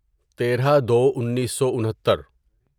تیرہ دو انیسو انھتر